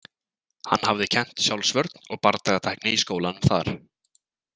Hann hafði kennt sjálfsvörn og bardagatækni í skólanum þar.